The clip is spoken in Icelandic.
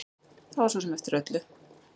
Það var svo sem eftir öllu.